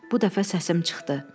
Bu dəfə səsim çıxdı.